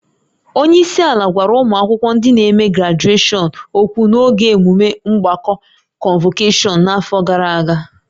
Onye isi ala gwara ụmụ akwụkwọ ndị n'eme grajueshọn ókwú n'oge emume mgbakọ kọnvokeshọn n'afọ gara aga